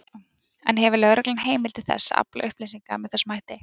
En hefur lögreglan heimild til þess að afla upplýsinga með þessum hætti?